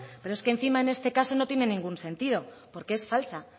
pero es que encima en este caso no tiene ningún sentido porque es falsa